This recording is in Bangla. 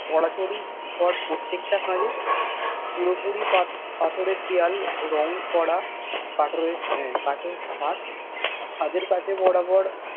চরা ছড়ি ঘর প্রটতেকটি ঘর পুরোপুরি পাথরের দেওয়াল রঙ করা কথরের কাঠের ছাদ ছাদের কাছে বরাবর